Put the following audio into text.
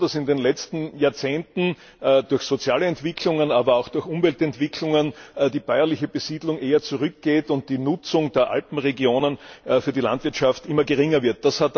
Nun ist es so, dass in den letzten Jahrzehnten durch soziale Entwicklungen, aber auch durch Umweltentwicklungen die bäuerliche Besiedlung eher zurückgeht und die Nutzung der Alpenregionen für die Landwirtschaft immer geringer wird.